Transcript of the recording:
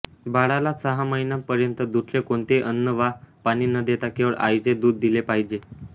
बाळाला सहा महिन्यांपर्यंत दुसरे कोणतेही अन्न वा पाणी न देता केवळ आईचे दूध दिले पाहिजे